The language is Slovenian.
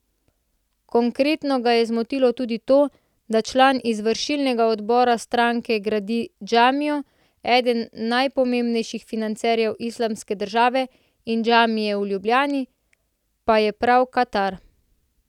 Konkretno ga je zmotilo tudi to, da član izvršilnega odbora stranke gradi džamijo, eden najpomembnejših financerjev Islamske države in džamije v Ljubljani pa je prav Katar.